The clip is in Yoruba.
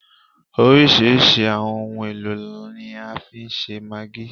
Oríṣirísi àwọn ohun èlò ni a fi ń ṣe maggi